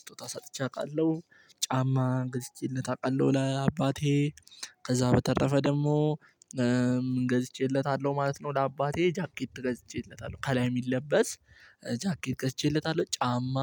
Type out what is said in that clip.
ስጦታ ሰጥቼ አውቃለሁ። ጫማ ገዝቼለት እውቃለሁ ለአባቴ ከዛ በተረፈ ደግሞ ገዝቼለታለሁ ማለት ነው። ለአባቴ ጃኬት ገዝቼለታለሁ ከላይ የሚለበስ ጃኬት ገዝቼለታለሁ ጫማ